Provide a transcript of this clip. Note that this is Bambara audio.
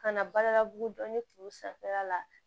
Kana baara labugu dɔni tulu sanfɛla la